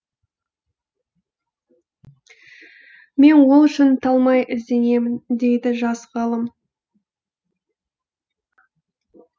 мен ол үшін талмай ізденемін дейді жас ғалым